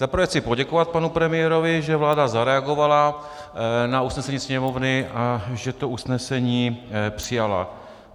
Za prvé chci poděkovat panu premiérovi, že vláda zareagovala na usnesení Sněmovny a že to usnesení přijala.